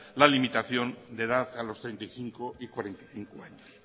la limitación de edad a los treinta y cinco y cuarenta y cinco años